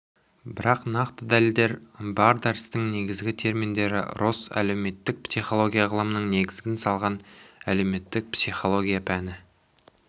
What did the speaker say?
бірақ нақты дәлелдер бар дәрістің негізгі терминдері росс әлеуметтік психология ғылымының негізін салған әлеуметтік психология пәні